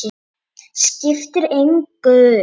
Skiptir engu.